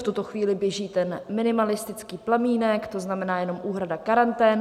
V tuto chvíli běží ten minimalistický plamínek, to znamená jenom úhrada karantén.